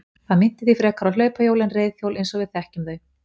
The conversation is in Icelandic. Það minnti því frekar á hlaupahjól en reiðhjól eins og við þekkjum þau.